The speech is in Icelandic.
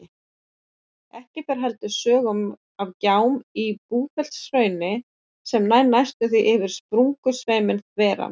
Ekki fer heldur sögum af gjám í Búrfellshrauni sem nær næstum því yfir sprungusveiminn þveran.